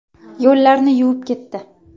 Yo‘llarni yuvib ketdi.